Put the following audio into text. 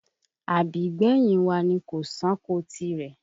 Àbígbẹ̀yìn wa ni kò ṣáko tirẹ̀